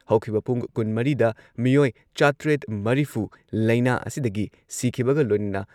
ꯍꯧꯈꯤꯕ ꯄꯨꯨꯡ ꯀꯨꯟꯃꯔꯤꯗ ꯃꯤꯑꯣꯏ ꯆꯥꯇ꯭ꯔꯦꯠ ꯃꯔꯤꯐꯨ ꯂꯩꯅꯥ ꯑꯁꯤꯗꯒꯤ ꯁꯤꯈꯤꯕꯒ ꯂꯣꯏꯅꯅ